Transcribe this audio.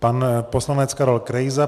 Pan poslanec Karel Krejza.